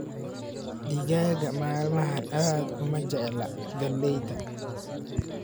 Digaagga maalmahan aad uma jecla galleyda